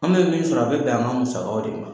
An bɛ min sɔrɔ a bɛ bɛn an ka musakaw de ma.